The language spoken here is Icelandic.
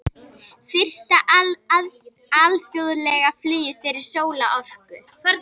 Fyrsta alþjóðlega flugið fyrir sólarorku